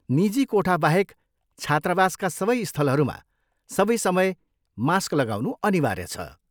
निजी कोठाबाहेक छात्रावासका सबै स्थलहरूमा सबै समय मास्क लगाउनु अनिवार्य छ।